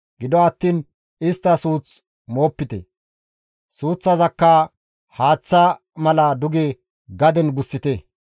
Gido attiin istta suuth moopite; suuththaza haaththa mala duge gaden gussite.